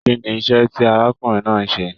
Kínní iṣẹ tí arákùnrin náà n ṣe?